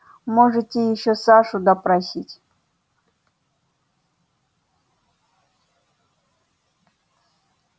можете ещё сашу допросить